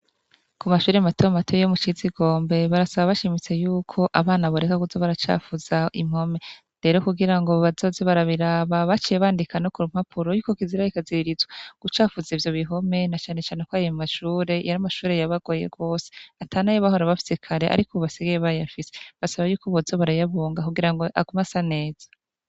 ku mashuri mato mato yo mu shizi ikombe barasaba bashimise yuko abana boreka kuza baracafuza impome rero kugira ngo bazoze barabiraba baciye bandika no ku rumpapuro y'uko kizira rikaziririzwa gucafuza ibyo bihome na cane cane ko ayomashure yari amashure yabagoye gwose atanayo bahora bafise kare ariko ubu basigaye bayafise basaba y'uko boza barayabunga kugirango agumasaneza